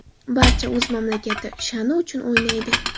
Barcha o‘z mamlakati sha’ni uchun o‘ynaydi.